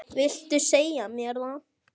Viltu segja mér það?